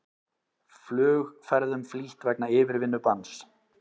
Flugferðum flýtt vegna yfirvinnubanns